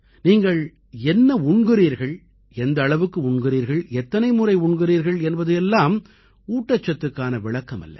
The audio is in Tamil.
நீங்கள் என்ன உண்கிறீர்கள் எந்த அளவுக்கு உண்கிறீர்கள் எத்தனை முறை உண்கிறீர்கள் என்பது எல்லாம் ஊட்டச்சத்துக்கான விளக்கமல்ல